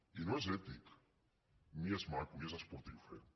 i no és ètic ni és maco ni és esportiu fer ho